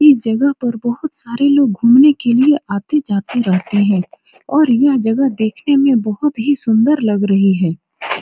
इस जगह पर बहुत सारे लोग घूमने के लिए लोग आते-जाते रहते हैं और यह जगह देखने में बहुत ही सुन्दर लग रही है।